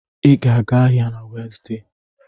Ị ga-aga ahịa na Wenzday